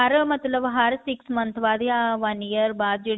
ਹਰ ਮਤਲਬ ਹਰ six month ਬਾਅਦ ਯਾ one year ਬਾਅਦ ਜਿਹੜੀ